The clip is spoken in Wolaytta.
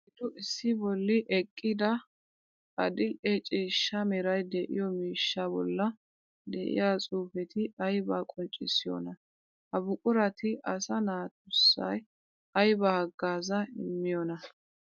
Oyddu issi bolli eqqidda adli'e ciishsha meray de'iyo miishsha bolla de'iya xuufetti aybba qonccissiyonna? Ha buquratti asaa naatusai aybba hagaaza immiyoonna?